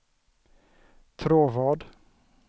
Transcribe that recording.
Tråvad